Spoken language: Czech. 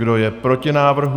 Kdo je proti návrhu?